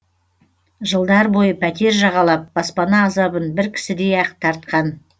жылдар бойы пәтер жағалап баспана азабын бір кісідей ақ тартқан